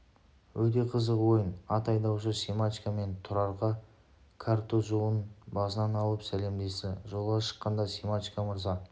өте қызық ойын ат айдаушы семашко мен тұрарға картузын басынан алып сәлемдесті жолға шыққанда семашко мырза